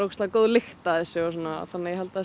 góð lykt af þessu og svona þannig ég held að